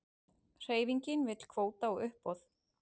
Hreyfingin vill kvóta á uppboð